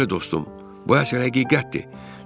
Bəli dostum, bu əsər həqiqətdir.